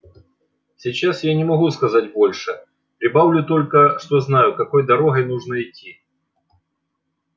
сейчас я не могу сказать больше прибавлю только что знаю какой дорогой нужно идти